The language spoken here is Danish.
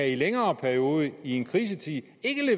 i en længere periode i en krisetid ikke